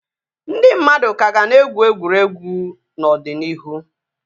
Ndị mmadụ ka ga na-egwu egwuregwu n'ọdịnihu